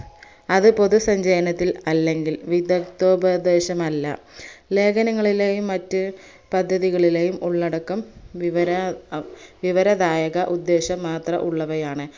അത് പൊതുസഞ്ചയനത്തിൽ അല്ലെങ്കിൽ വിദക്തോപദേശമല്ല ലേഖനങ്ങളിലെയും മറ്റ് പദ്ധതികളിലെയും ഉള്ളടടക്കം വിവര വിവരദായക ഉദ്ദേശം മാത്രം ഉള്ളവയാണ്